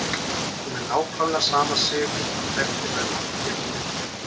Hún er nákvæmlega sama Sif og hann þekkti meðan allt lék í lyndi.